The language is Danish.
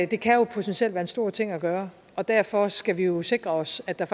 det kan jo potentielt være en stor ting at gøre og derfor skal vi jo sikre os at der